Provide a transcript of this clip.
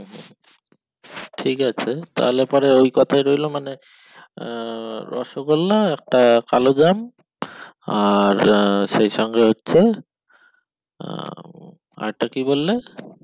ঠিক আছে তাহলে পরে ওই কোথায় লইলো মানে আহ রসগোল্লা একটা কালো জ্যাম আর আহ সেই সঙ্গে হচ্ছে আহ আর একটা কি বললে